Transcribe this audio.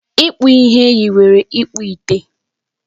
Ịkpụ ihe yiwere ịkpụ ite